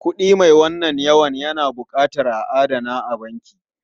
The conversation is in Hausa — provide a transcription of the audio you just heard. Kuɗi mai wannan yawan na buƙatar a adana a banki.